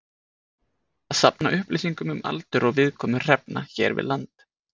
Að safna upplýsingum um aldur og viðkomu hrefnu hér við land.